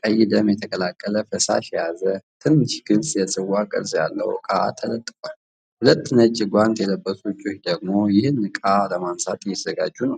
ቀይ ደም የተቀላቀለ ፈሳሽ የያዘ ትንሽ ግልጽ የጽዋ ቅርጽ ያለው ዕቃ ተለጥፎአል። ሁለት ነጭ ጓንት የለበሱ እጆች ደግሞ ይህንን ዕቃ ለማንሳት እየተዘጋጁ ነው።